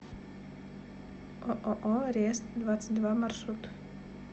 ооо рест двадцать два маршрут